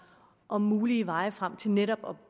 om mulige veje frem for netop